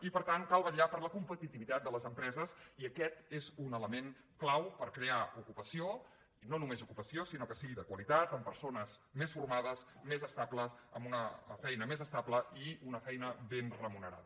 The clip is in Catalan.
i per tant cal vetllar per la competitivitat de les empreses i aquest és un element clau per crear ocupació i no només ocupació sinó que sigui de qualitat amb per·sones més formades més estables amb una feina més estable i una feina ben remunerada